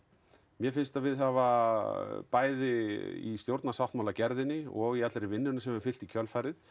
mér finnst við hafa bæði í stjórnarsáttmála gerðinni og í allri vinnunnunni sem hefur fylgt í kjölfarið